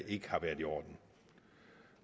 ikke har været i orden